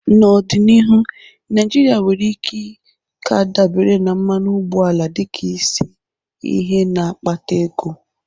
N'ọdịnihu, Naijiria nwere ike ka dabere na mmanụ ụgbọala dịka isi ihe na-akpata ego.